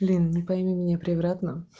блин не пойми меня превратно